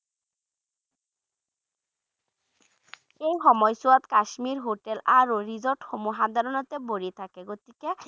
এই সময়ছোৱাত কাশ্মীৰ hotel আৰু resort সমূহ সাধাৰণতে ভৰি থাকে গতিকে